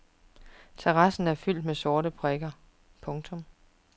Terrassen er fyldt med sorte prikker. punktum